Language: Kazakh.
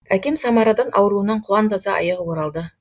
әкем самарадан ауруынан құлан таза айығып оралды